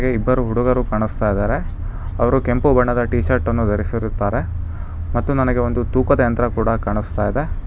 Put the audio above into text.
ಇಬ್ಬರು ಹುಡುಗರು ಕಾಣಿಸ್ತಾಯಿದರೆ ಅವರು ಕೆಂಪು ಬಣ್ಣದ ಟೀ ಶರ್ಟ್ ಅನ್ನು ಧರಿಸಿರುತ್ತಾರೆ ಮತ್ತು ನನಗೆ ಒಂದು ತೂಕದ ಯಂತ್ರ ಕೂಡ ಕಾಣಿಸ್ತಾಯಿದೆ.